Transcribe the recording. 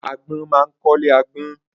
Agbọ́n ma ń kọ́ ilé agbọ́n.